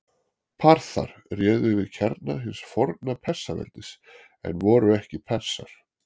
Parþar réðu yfir kjarna hins forna Persaveldis en voru ekki Persar.